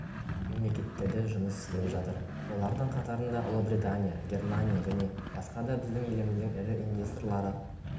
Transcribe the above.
мемлекеттерде жұмыс істеп жатыр олардың қатарында ұлыбритания германия және басқа да біздің еліміздің ірі инвесторлары